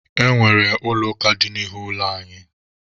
E nwere Ụlọ ụka dị n'ihu ụlọ anyị.